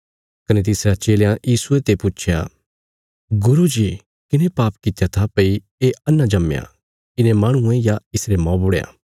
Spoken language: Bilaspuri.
कने तिसरयां चेलयां यीशुये पुच्छया गुरू जी किने पाप कित्या था भई ये अन्हा जम्मया इने माहणुये या इसरे मौबुढ़यां